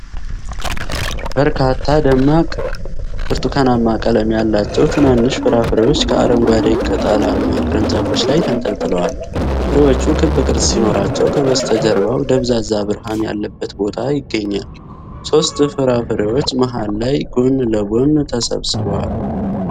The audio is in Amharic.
በርካታ ደማቅ ብርቱካናማ ቀለም ያላቸው ትናንሽ ፍራፍሬዎች ከአረንጓዴ ቅጠላማ ቅርንጫፎች ላይ ተንጠልጥለዋል። ፍሬዎቹ ክብ ቅርጽ ሲኖራቸው ከበስተጀርባው ደብዛዛ ብርሃን ያለበት ቦታ ይገኛል። ሦስት ፍራፍሬዎች መሃል ላይ ጎን ለጎን ተሰብስበዋል።